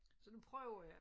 Så nu prøver jeg